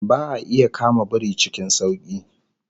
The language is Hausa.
Ba'a iya kama biri cikin sauki